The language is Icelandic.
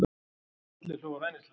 Allir hlógu hæðnislega.